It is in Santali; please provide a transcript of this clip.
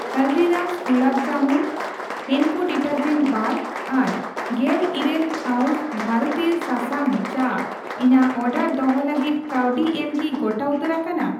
Haldiram's gulab jamun, Henko detergent bar, ᱟᱨ ᱜᱮᱞᱤᱨᱟᱹᱞ ᱦᱟᱨᱵᱥ ᱵᱷᱟᱨᱚᱛᱤᱭᱟᱹ ᱥᱟᱥᱟᱝ ᱪᱟ ᱤᱧᱟᱜ ᱚᱰᱟᱨ ᱫᱚᱦᱚ ᱞᱟᱹᱜᱤᱫ ᱠᱟᱹᱣᱰᱤ ᱮᱢ ᱠᱤ ᱜᱚᱴᱟ ᱩᱛᱟᱹᱨ ᱟᱠᱟᱱᱟ ?